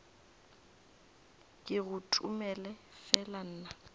ke go tomele fela nna